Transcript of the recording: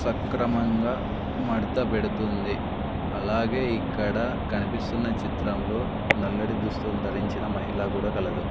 సక్రమంగా మడత పెడుతుంది అలాగే ఇక్కడ కనిపిస్తున్న చిత్రంలో నల్లటి దుస్తులు ధరించిన మహిళ గూడా కలదు.